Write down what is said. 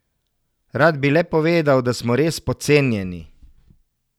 Rad bi le povedal, da smo res podcenjeni.